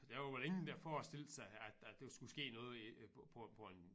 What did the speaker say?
Der var vel ingen der forestillede sig at at der skulle ske noget på på en